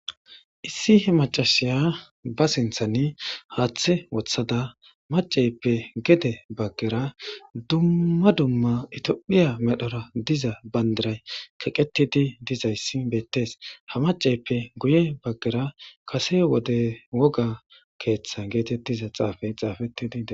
issi he macashiya ba sinthani haaththe wothada maceyppe gede baggera dumma dumma itophiya medhora diza bandiray keqqetidi dizayssi bettes ha maceyppe guye baggera kase wode woga keeththa geetettiza xaafey xaafettidie